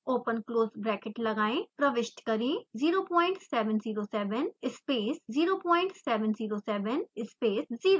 open close bracket लगाएं प्रविष्ट करें 0707 space 0707 space 0